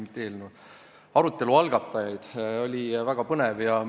Ma tänan arutelu algatajaid – oli väga põnev!